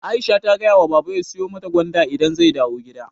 Aisha ta gayawa baba ya siyu mata gwanda idan zai dawu gida